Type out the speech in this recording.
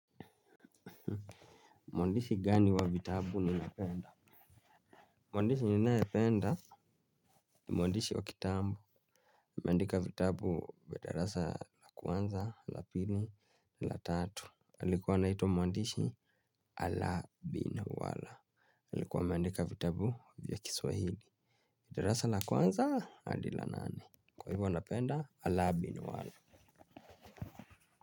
Mwandishi gani wa vitabu ninapenda? Mwandishi ninayependa ni mwandishi wa kitambu ameandika vitabu wa darasa la kwanza, la pili, la tatu. Alikuwa anaitwa mwandishi ala bina wala. Alikuwa ameandika vitabu vya kiswahili darasa la kwanza andi la nane. Kwa hivyo napenda ala bina wala.